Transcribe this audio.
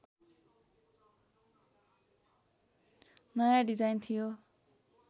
नयाँ डिजाइन थियो